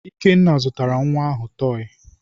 Ikenna zụtara nwa ahụ tọọyị.